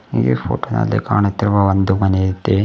ಇಲ್ಲಿ ಹುಟ್ ನಲ್ಲಿ ಕಾಣುತ್ತಿರುವ ಒಂದು ಮನೆ ಐತೆ.